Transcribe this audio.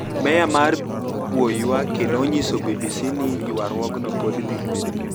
Meya mar Bouake noniyiso BBC nii ywaruokno pod dhi niyime.